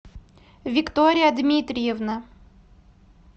виктория дмитриевна